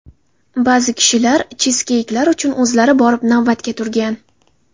Ba’zi kishilar chizkeyklar uchun o‘zlari borib navbatga turgan.